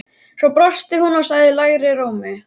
Svo brosti hún og sagði lægri rómi